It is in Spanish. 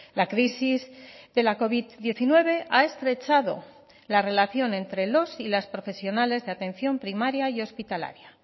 la crisis de la covid diecinueve ha estrechado la relación entre los y las profesionales de atención primaria y hospitalaria